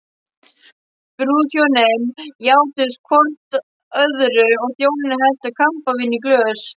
Brúðhjónin játuðust hvort öðru og þjónarnir helltu kampavíni í glös.